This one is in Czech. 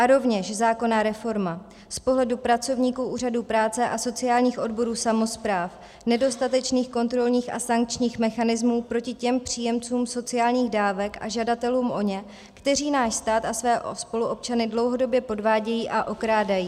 A rovněž zákonná reforma z pohledu pracovníků úřadů práce a sociálních odborů samospráv nedostatečných kontrolních a sankčních mechanismů proti těm příjemcům sociálních dávek a žadatelům o ně, kteří náš stát a své spoluobčany dlouhodobě podvádějí a okrádají.